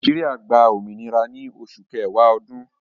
Nàìjíríà gbà òmìnira ní Òṣù Kẹ̀wà Òdún